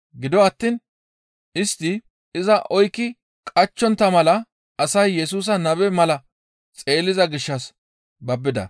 Gido attiin istti iza oykki qachchontta mala asay Yesusa nabe mala xeelliza gishshas babbida.